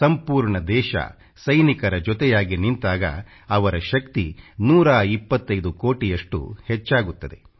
ಸಂಪೂರ್ಣ ದೇಶ ಸೈನಿಕರ ಜೊತೆಯಾಗಿ ನಿಂತಾಗ ಅವರ ಶಕ್ತಿ 125 ಕೋಟಿಯಷ್ಟು ಹೆಚ್ಚಾಗುತ್ತದೆ